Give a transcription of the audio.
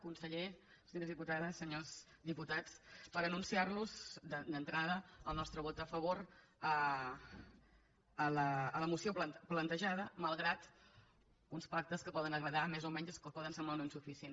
conseller senyores diputades senyors diputats per anunciar los d’entrada el nostre vot a favor a la moció plantejada malgrat uns pactes que poden agradar més o menys o que poden semblar o no insuficients